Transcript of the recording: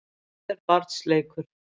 Brauð er barns leikur.